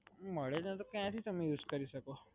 મડે જ નહીં તો ક્યાંથી તમે use કરી સકો?